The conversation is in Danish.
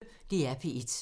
DR P1